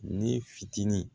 Ne fitinin